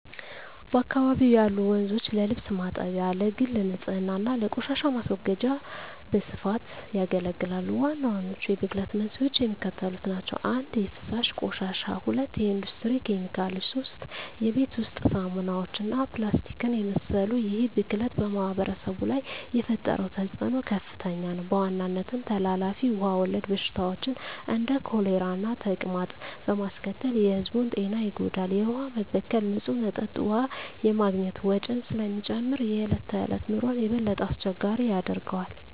በአካባቢው ያሉ ወንዞች ለልብስ ማጠቢያ፣ ለግል ንፅህና እና ለቆሻሻ ማስወገጃ በስፋት ያገለግላሉ። ዋናዎቹ የብክለት መንስኤዎች የሚከተሉት ናቸው - 1) የፍሳሽ ቆሻሻ 2) የኢንዱስትሪ ኬሚካሎች 3) የቤት ውስጥ ሳሙናዎች እና ፕላስቲክን የመሰሉ ይህ ብክለት በማኅበረሰቡ ላይ የፈጠረው ተፅዕኖ ከፍተኛ ነው፤ በዋናነትም ተላላፊ ውሃ ወለድ በሽታዎችን (እንደ ኮሌራና ተቅማጥ) በማስከተል የሕዝቡን ጤና ይጎዳል። የውሃ መበከል ንፁህ መጠጥ ውሃ የማግኘት ወጪን ስለሚጨምር የዕለት ተዕለት ኑሮን የበለጠ አስቸጋሪ ያደርገዋል።